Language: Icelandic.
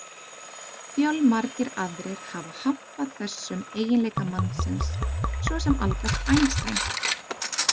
Fjölmargir aðrir hafa hampað þessum eiginleika mannsins, svo sem Albert Einstein.